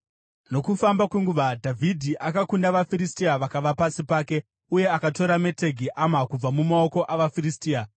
Nokufamba kwenguva, Dhavhidhi akakunda vaFiristia vakava pasi pake, uye akatora Metegi Ama kubva mumaoko avaFiristia.